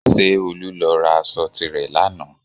Ṣé Olú lọ ra aṣọ tilẹ̀ lánàá?